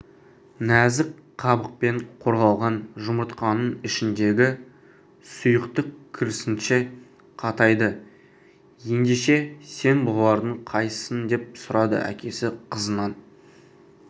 нәзік қабықпен қорғалған жұмыртқаның ішіндегі сұйықтық керісінше қатайды ендеше сен бұлардың қайсысысың деп сұрады әкесі қызынан